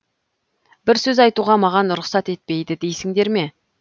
бір сөз айтуға маған рұқсат етпейді дейсіңдер ме